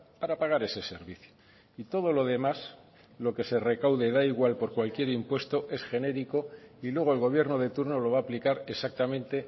para pagar ese servicio y todo lo demás lo que se recaude da igual por cualquier impuesto es genérico y luego el gobierno de turno lo va a aplicar exactamente